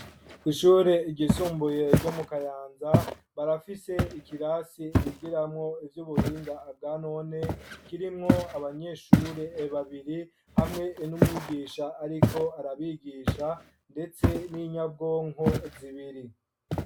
Kw'ishure ryisumbuye ryo mu Kayanza, barafise ikirasi bigiramwo ivy'ubuhinga bwa none, kirimwo abanyeshure babiri hamwe n'umwigisha ariko arabigisha, ndetse n'inyabwonko zibiri.